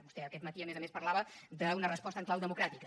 vostè aquest matí a més a més parlava d’una resposta en clau democràtica